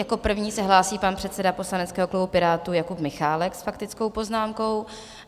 Jako první se hlásí pan předseda poslaneckého klubu Pirátů Jakub Michálek s faktickou poznámkou.